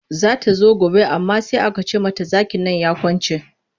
Za ta zo gobe amma sai aka ce mata zakin nan ya kwance.